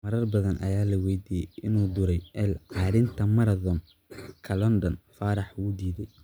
Marar badan ayaa la weydiiyay inuu ku duray L-carnitine Marathon-ka London, Faarax wuu diiday.